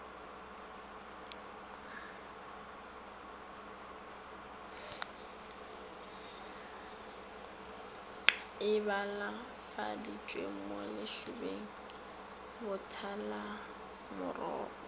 e balafaditšwe mo letšobeng botalamorogo